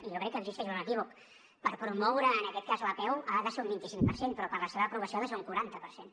i jo crec que existeix un equívoc per promoure en aquest cas l’apeu ha de ser un vint cinc per cent però per la seva aprovació ha de ser un quaranta per cent